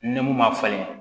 Ni mun ma falen